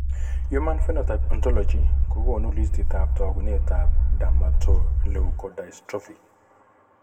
Human Phenotype ontology kokoonu listiitab taakunetab dermatoleukodystrophy.